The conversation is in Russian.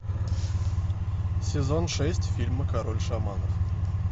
сезон шесть фильма король шаманов